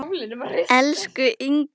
Elsku Inga.